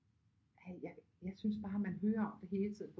Jeg synes bare man hører om det hele tiden